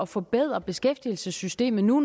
forbedre beskæftigelsessystemet nu